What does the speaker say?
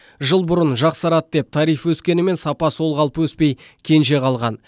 жыл бұрын жақсарады деп тариф өскенімен сапа сол қалпы өспей кенже қалған